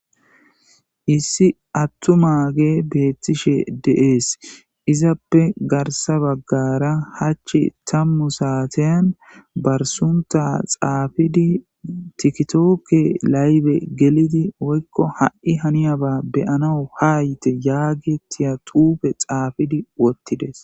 issi attuma ge beettishe deees izappe garsa baggara hachchi tammu saaten barsunta xaafidi tikitookke laybe gelidi oykko ha7i haniyaba beyanau ha yite yaagi tiyaxuufe xaafidi wottides